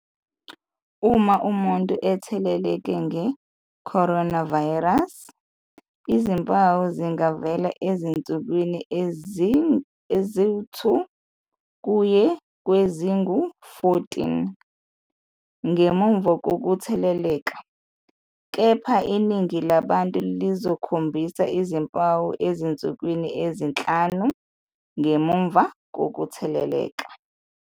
Uma umuntu etheleleke nge-coronavirus, izimpawu zingavela ezinsukwini ezi-2 kuye kwezingu-14 ngemuva kokutheleleka, kepha iningi labantu lizokhombisa izimpawu ezinsukwini ezinhlanu ngemuva kokutheleleka.